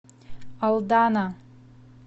алдана